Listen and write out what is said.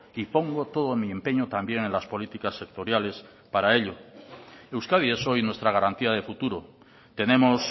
y pongo todo mi empeño también en las políticas sectoriales para ello euskadi es hoy nuestra garantía de futuro tenemos